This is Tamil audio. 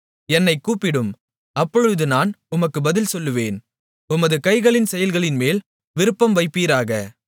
என்னைக் கூப்பிடும் அப்பொழுது நான் உமக்கு பதில் சொல்லுவேன் உமது கைகளின் செயல்களின்மேல் விருப்பம் வைப்பீராக